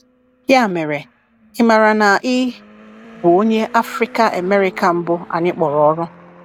“Ya mere, ị maara na ị bụ Onye Afrịka-Amerịka mbụ anyị kpọrọ ọrụ?”